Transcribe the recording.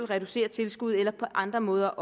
reducere tilskuddet eller på andre måder